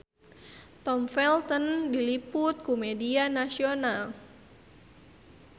Tom Felton diliput ku media nasional